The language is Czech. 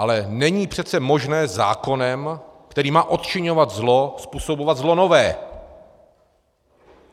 Ale není přece možné zákonem, který má odčiňovat zlo, způsobovat zlo nové.